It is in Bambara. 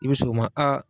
I bɛ s'o ma a